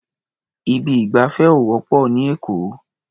Ibi ìgbafẹ́ ò wọ́pọ̀ ní Èkó.